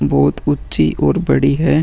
बहुत ऊँची और बड़ी है |